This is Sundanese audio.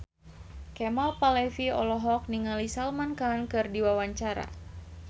Kemal Palevi olohok ningali Salman Khan keur diwawancara